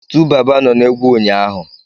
TuBaba nọ na egwu ụnyaahụ.